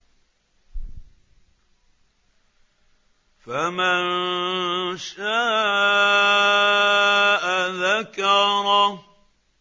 فَمَن شَاءَ ذَكَرَهُ